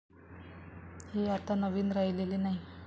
हे आता नवीन राहिलेले नाही.